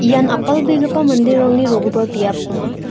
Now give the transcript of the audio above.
ian apalbegipa manderangni rogipa biap ong·a.